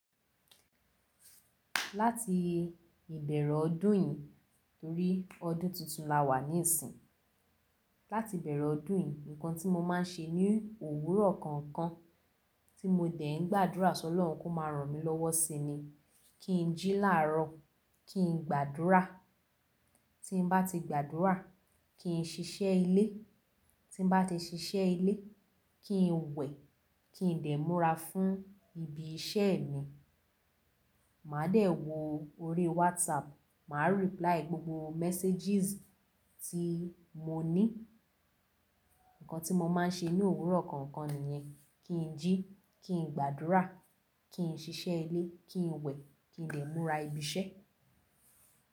Láti ìbẹ̀rẹ̀ ọdún yìí torí ọdún tuntun la wà níìsín, láti ìbẹ̀rẹ̀ ọdún yìí nǹkan tí mo máa ń ṣe ní òwúrọ̀ kọ̀ọ̀kan, tí mo dẹ̀ ń gbàdúrà sọlorun kó máa ràn mí lọ́wọ́ ṣi ni, kí n jí láàrọ̀, kí n gbàdúrà. Tí n bá ti gbàdúrà, kí n ṣiṣẹ́ ilé. Tí bá ti ṣiṣẹ́ ilé, kí n wẹ̀, kí n dè múra fún ibi iṣẹ́ mi, màá dẹ̀ wo orí WhatsApp, màá reply gbogbo messages tí mo ní. Ǹǹkan tí mo máa ń ṣe ní òwúrọ̀ kọ̀ọ̀kan nìyẹn, kí n jí, kí n gbàdúrà, kí n ṣiṣẹ́ ilé, kí n wẹ̀, kí n dè múra ibi iṣẹ́.